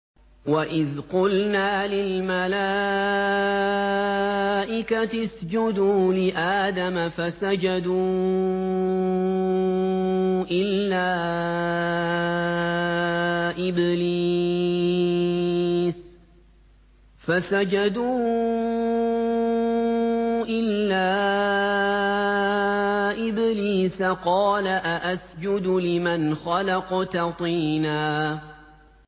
وَإِذْ قُلْنَا لِلْمَلَائِكَةِ اسْجُدُوا لِآدَمَ فَسَجَدُوا إِلَّا إِبْلِيسَ قَالَ أَأَسْجُدُ لِمَنْ خَلَقْتَ طِينًا